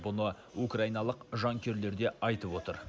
бұны украиналық жанкүйерлер де айтып отыр